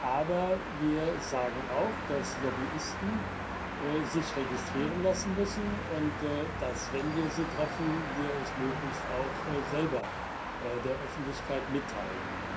Aber wir sagen auch, dass sich Lobbyisten registrieren lassen müssen, und dass, wenn wir sie treffen, wir es möglichst auch selber der Öffentlichkeit mitteilen.